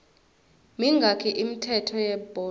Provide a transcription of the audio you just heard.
mingaki imithetho yebhola